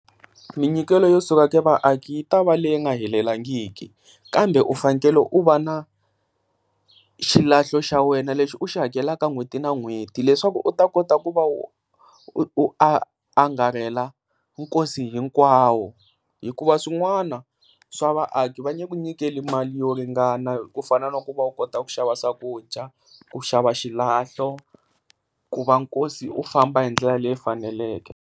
Minyikelo yo suka ka vaaki ya ta va leyi nga helelangiki kambe u fanekele u va na xilahlo xa wena lexi u xi hakelaka n'hweti na n'hweti leswaku u ta kota ku va u u a angarela nkosi hinkwawo. Hikuva swin'wana swa vaaki va nge ku nyikeli mali yo ringana ku fana na ku va u kota ku xava swakudya, ku shava xilahlo ku va nkosi u famba hi ndlela leyi faneleke.